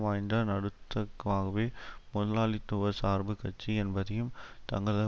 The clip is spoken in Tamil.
வாய்ந்த நடுத்தக்காகவே முதலாளித்துவ சார்பு கட்சி என்பதையும் தங்களது